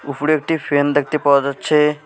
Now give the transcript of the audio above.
উফুরে একটি ফ্যান দেখতে পাওয়া যাচ্ছে।